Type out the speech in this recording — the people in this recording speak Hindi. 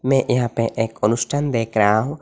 मैं यहां पर एक अनुष्ठान देख रहा हूं।